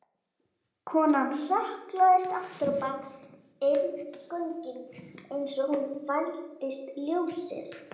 Konan hrökklaðist afturábak inn göngin eins og hún fældist ljósið.